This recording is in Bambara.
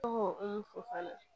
Tɔgɔmu